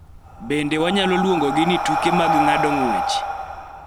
Bende wanyalo luongogi ni tuke mag ng�ado ng�wech.